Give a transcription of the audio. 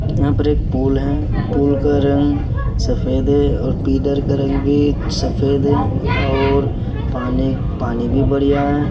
यहाँ पर एक पुल है पूल का रंग सफ़ेद है और पिलर क रंग भी सफ़ेद है और पानी पानी भी बढ़िया है।